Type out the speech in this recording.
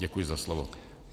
Děkuji za slovo.